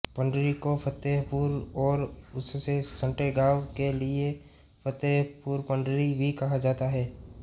पंडरी को फतेहपुर और उससे सटे गाँव के लिए फतेहपुरपंडरी भी कहा जाता है